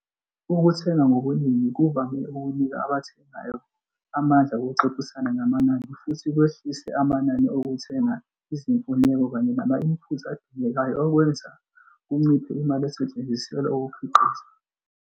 Ukuthenga ngobuningi kuvame ukunika abathengayo amandla okuxoxisana ngamanani futhi kwehlise amanani okuthenga izimfuneko kanye nama-inputs adingekayo okwenza kunciphe imali esetshenziselwa ukukhiqiza, net cost of production.